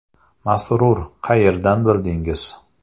Masrur: Qayerdan bildingiz?